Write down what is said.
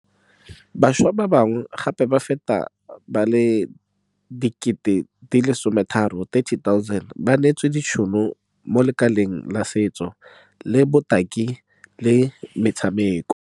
Bašwa ba bangwe gape ba feta ba le 30 000 ba neetswe ditšhono mo lekaleng la setso, la botaki le la metshameko.